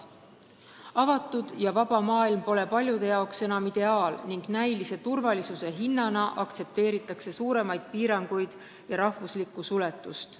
Avatud ja vaba maailm pole paljude jaoks enam ideaal ning näilise turvalisuse nimel aktsepteeritakse suuremaid piiranguid ja rahvuslikku suletust.